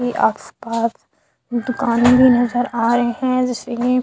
आस-पास दुकाने भी नज़र आ रहे है जैसे की--